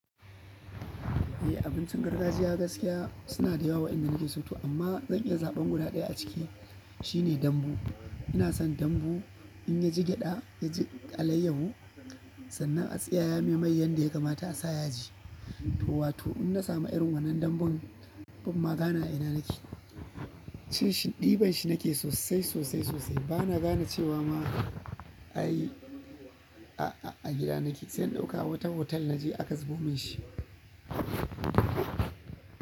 Eh abincin gargajiya gaskiya suna da yawa wayanda nake so to amma zan iya zaɓan guda ɗaya a ciki shine dambu. Ina son dambu in ya ji gyaɗa, ya ji alayyahu sannan a tsiyaya mai mai yadda ya kamata a sa yaji. To wato in na samu irin wannan dambun bamma gane ina nake. Cin shi, ɗiban shi nake sosai, sosai, sosai bana gane cewa ma ai a, a gida nake zan ɗauka wata hotel naje aka zubo min shi.